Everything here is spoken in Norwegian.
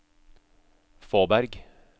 Fåberg